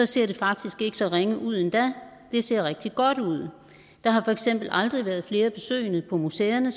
ser det faktisk ikke så ringe ud endda det ser rigtig godt ud der har for eksempel aldrig været flere besøgende på museerne